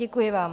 Děkuji vám.